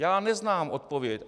Já neznám odpověď.